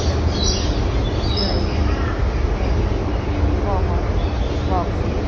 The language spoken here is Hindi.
रखे गए हैं बहोत बॉक्स --